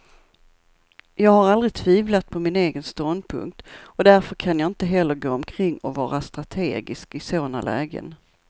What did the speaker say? Jag har aldrig tvivlat på min egen ståndpunkt, och därför kan jag inte heller gå omkring och vara strategisk i sådana lägen.